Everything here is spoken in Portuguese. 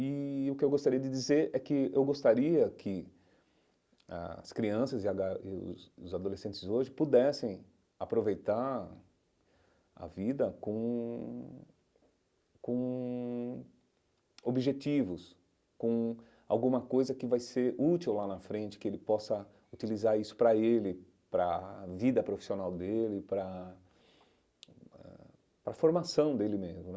E o que eu gostaria de dizer é que eu gostaria que as crianças e a ga e os os adolescentes hoje pudessem aproveitar a vida com com objetivos, com alguma coisa que vai ser útil lá na frente, que ele possa utilizar isso para ele, para a vida profissional dele, para a eh para a formação dele mesmo.